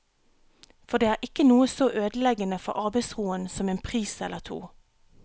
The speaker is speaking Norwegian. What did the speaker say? For det er ikke noe så ødeleggende for arbeidsroen som en pris eller to.